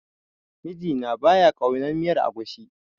Mijina ba ya ƙaunar miyar agushi.